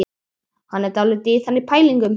Hann er dálítið í þannig pælingum.